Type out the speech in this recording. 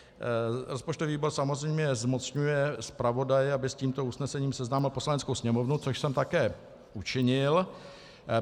Rozpočtový výbor samozřejmě zmocňuje zpravodaje, aby s tímto usnesením seznámil Poslaneckou sněmovnu, což jsem také učinil.